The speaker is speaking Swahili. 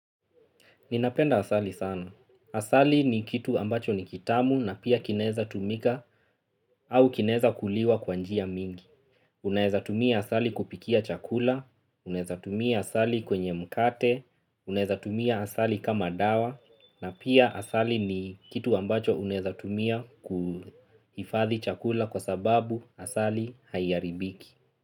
Ninapenda asali sana. Asali ni kitu ambacho ni kitamu na pia kinaeza tumika au kinaeza kuliwa kwa njia mingi. Unaeza tumia asali kupikia chakula, unaeza tumia asali kwenye mkate, unaeza tumia asali kama dawa na pia asali ni kitu ambacho unaeza tumia kuhifadhi chakula kwa sababu asali haiharibiki.